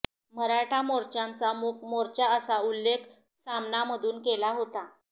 मराठा मोर्चाचा मूक मोर्चा असा उल्लेख सामनामधून केला होता